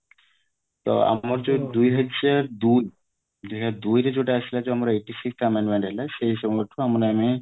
ତ ଆମର ଯୋଉ ଦୁଇହାଜର ଦୁଇ ଦୁଇହାଜର ଦୁଇରେ ଯୋଉଟା ଆସିଲା ଯୋଉ ଆମର ସେଇ ସମୟଠୁ ମାନେ ଆମେ